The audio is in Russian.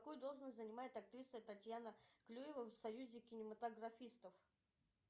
какую должность занимает актриса татьяна клюева в союзе кинематографистов